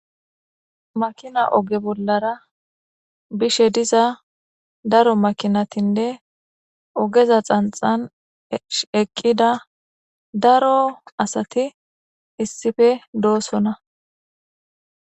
makina oge bollara bishe diza daro makinatinne ogeza xanxan eqqida daro asati issife doosona